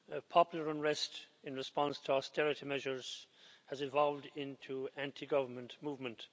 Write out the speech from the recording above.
Popular unrest in response to austerity measures has evolved into anti government movement.